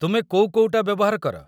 ତୁମେ କୋଉ କୋଉଟା ବ୍ୟବହାର କର?